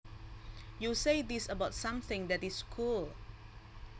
You say this about something that is cool